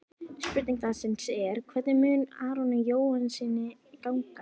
Spurning dagsins er: Hvernig mun Aroni Jóhannssyni ganga?